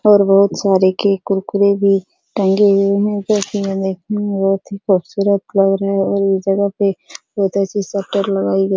और बहुत सारे के कुरकुरे भी टंगे हुए हैं जो की यह देखने में बहुत ही खूबसूरत लग रहे हैं और इस जगह पे बहुत अच्छी शटर लगाई गई --